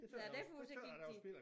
Nej derfor så gik de